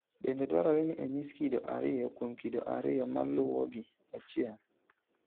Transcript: Bende dwarore ni onyis kido ariyo kuom kido ariyo maluwogi: 1.